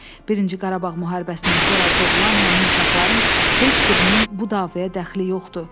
Birinci Qarabağ müharibəsindən sonra doğulan həmin uşaqların heç birinin bu davaya dəxli yoxdu.